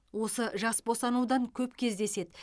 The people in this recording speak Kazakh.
осы жас босануда көп кездеседі